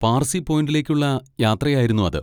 പാർസി പോയിന്റിലേക്കുള്ള യാത്രയായിരുന്നു അത്.